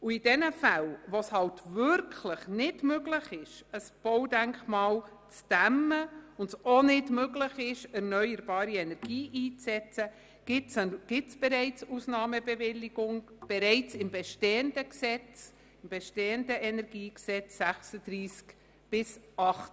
In denjenigen Fällen, wo es wirklich nicht möglich ist, ein Baudenkmal zu dämmen, und es auch nicht möglich ist, erneuerbare Energie einzusetzen, sind bereits im bestehenden KEnG Ausnahmebewilligungen vorgesehen, nämlich in den Artikeln 36 bis 38.